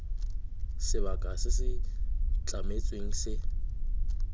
sebaka se se tlametsweng se